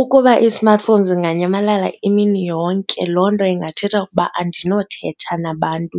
Ukuba i-smartphone zinganyamalala imini yonke loo nto ingathetha ukuba andinothetha nabantu